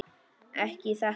Ekki í þetta sinn.